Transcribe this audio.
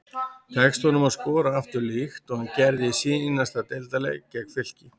Tekst honum að skora aftur líkt og hann gerði í seinasta deildarleik gegn Fylki?